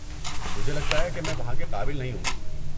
مجھے لگتا ہے کہ میں وہاں کے قابل نہیں ہوں۔